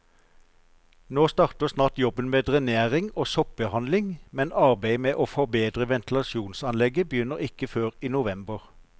Nå starter snart jobben med drenering og soppbehandling, men arbeidet med å forbedre ventilasjonsanlegget begynner ikke før i november.